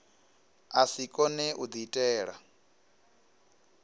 a si kone u diitela